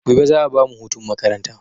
Gobe za a bamu hutun makaranta